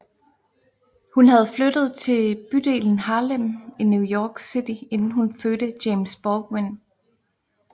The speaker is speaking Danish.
Hun havde flyttet til bydelen Harlem i New York City inden hun fødte James Baldwin